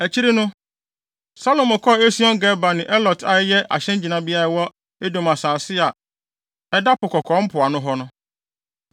Akyiri no, Salomo kɔɔ Esion-Geber ne Elot a ɛyɛ ahyɛngyinabea a ɛwɔ Edom asase a ɛda Po Kɔkɔɔ mpoano hɔ no.